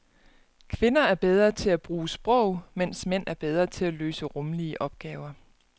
Kvinder er bedre til at bruge sprog, mens mænd er bedre til at løse rumlige opgaver.